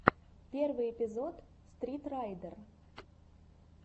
первый эпизод стритрайдер